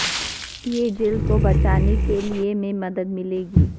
یہ جلد کو بچانے کے لئے میں مدد ملے گی